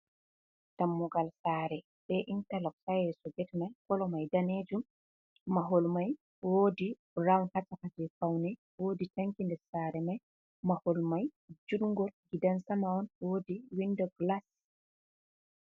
Dammugal Sare, be intalok ha yeso get mai. Kolo mai Danejum mahol mai wodi rawun ha shaka je faune, wodi tanki nder Sare mai, Mahol mai jungol Gidan Sama'on wodi Windo gilas.